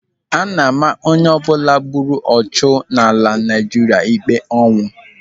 Ana-ama onyeọbụla gburu ọchụ n'ala Naijiria ikpe ọnwụ.